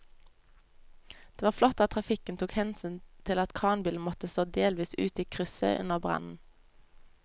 Det var flott at trafikken tok hensyn til at kranbilen måtte stå delvis ute i krysset under brannen.